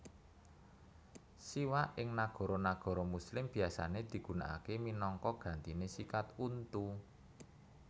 Siwak ing nagara nagara muslim biasané digunakaké minangka gantiné sikat untu